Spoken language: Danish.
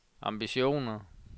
ambitioner